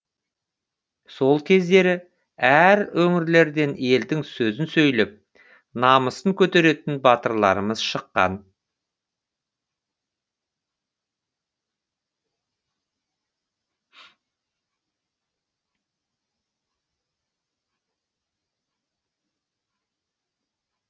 сол кездері әр өңірлерден елдің сөзін сөйлеп намысын көтеретін батырларымыз шыққан